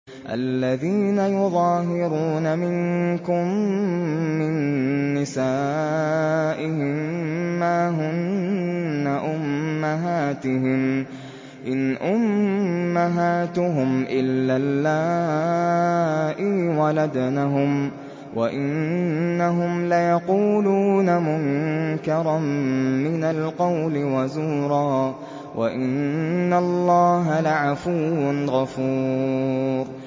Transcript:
الَّذِينَ يُظَاهِرُونَ مِنكُم مِّن نِّسَائِهِم مَّا هُنَّ أُمَّهَاتِهِمْ ۖ إِنْ أُمَّهَاتُهُمْ إِلَّا اللَّائِي وَلَدْنَهُمْ ۚ وَإِنَّهُمْ لَيَقُولُونَ مُنكَرًا مِّنَ الْقَوْلِ وَزُورًا ۚ وَإِنَّ اللَّهَ لَعَفُوٌّ غَفُورٌ